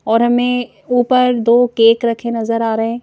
और हमें ऊपर दो केक रखे नजर आ रहे हैं।